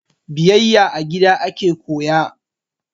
Biyayya a gida ake koya